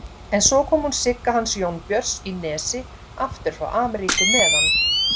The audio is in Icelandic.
En svo kom hún Sigga hans Jónbjörns í Nesi aftur frá Ameríku með hann